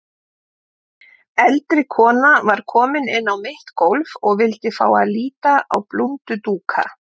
Eldri kona var komin inn á mitt gólf og vildi fá að líta á blúndudúka.